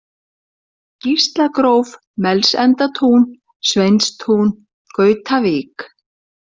Gíslagróf, Melsendatún, Sveinstún, Gautavík